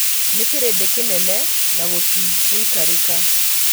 Nĩkĩrĩndĩ kĩnene na gũtingĩikarĩka